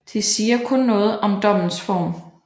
De siger kun noget om dommens form